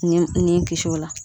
Nin ye ni kisi o la